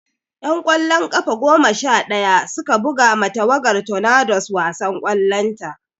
'Yan ƙwallon ƙafa goma sha ɗaya su ka buga ma tawagar Tornadoes wasan ƙwallon ƙafa.